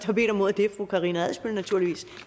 har bedt om ordet er fru karina adsbøl